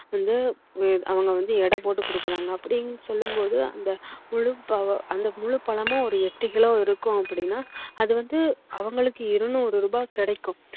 அது வந்துவந்து அவங்க வந்து எடை போட்டு கொடுக்குறாங்க அப்படின்னு சொல்லும் போது அந்த முழு பழமும் எட்டு கிலோ இருக்கும் அப்படின்னா அது வந்து அவங்களுக்கு இருநூறு ரூபாய் கிடைக்கும்